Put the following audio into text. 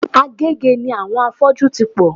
Agege ni àwọn afọ́jú ti pò.